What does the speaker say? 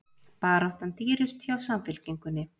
Baráttan dýrust hjá Samfylkingunni